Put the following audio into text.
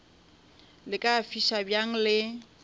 le ka fiša bjang le